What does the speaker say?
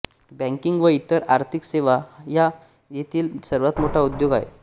banking व इतर आर्थिक सेवा हा येथील सर्वात मोठा उद्योग आहे